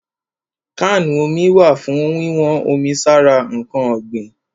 Kánù omi wà fún wíwọ́n omi sára ǹkan ọ̀gbìn.